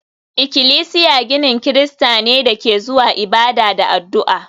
Ikilisiya ginin Kirista ne da ke zuwa ibada da addu'a